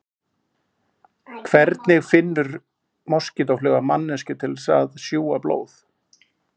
Hvernig finnur moskítófluga manneskju til að sjúga blóð?